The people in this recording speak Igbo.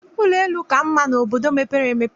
Ụlọ elu ka mma n'obodo mepere emepe